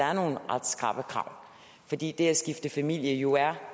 er nogle ret skrappe krav fordi det at skifte familie jo er